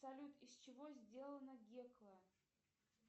салют из чего сделана гекла